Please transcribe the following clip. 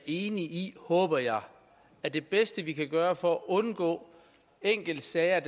enige i håber jeg at det bedste vi kan gøre for at undgå enkeltsager